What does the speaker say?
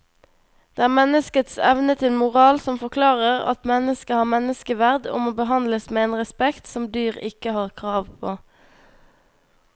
Det er menneskets evne til moral som forklarer at mennesket har menneskeverd og må behandles med en respekt som dyr ikke har krav på.